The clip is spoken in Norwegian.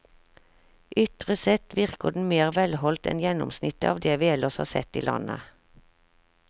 Ytre sett virker den mer velholdt enn gjennomsnittet av det vi ellers har sett i landet.